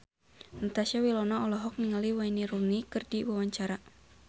Natasha Wilona olohok ningali Wayne Rooney keur diwawancara